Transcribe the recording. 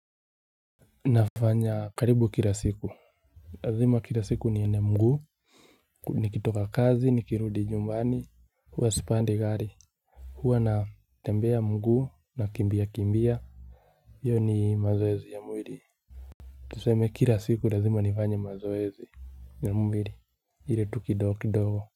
Nafanya karibu kila siku lazima kila siku nienee mgu nikitoka kazi nikirudi nyumbani huwa sipandi gari huwa natembea miguu, nakimbia kimbia io ni mazoezi ya mwili tuseme kila siku lazima nifanye mazoezi ya mwili ile tu kidogo kidogo.